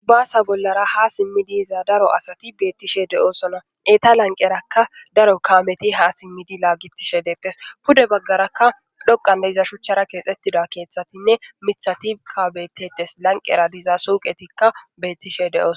Basa bollra hasimidi daro asati betishe de'osona eta lanieraka daro kameti hasimidi lagetishe de'etes pude bagaraka dhoqan diza shuchara kexetiza kethatinee mithati betes laniqera diza su'iqetika betishe de'osona